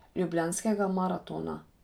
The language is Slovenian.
Ljubljanskega maratona.